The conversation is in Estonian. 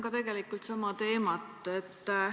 Ma jätkan sama teemat.